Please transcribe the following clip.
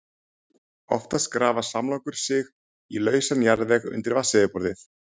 Oftast grafa samlokur sig í lausan jarðveg undir vatnsyfirborði.